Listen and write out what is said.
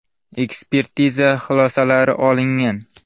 Ekspertiza xulosalari olingan.